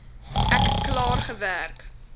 ek klaar gewerk